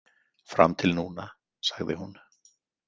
Fram til núna, sagði hún.